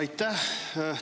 Aitäh!